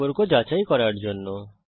সম্পর্ক যাচাই করার জন্যে